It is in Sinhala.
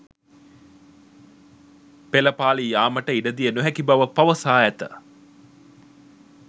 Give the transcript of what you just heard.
පෙළපාලි යාමට ඉඩදිය නොහැකි බව පවසා ඇත